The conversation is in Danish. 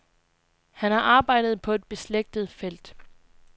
Han har arbejdet på et beslægtet felt.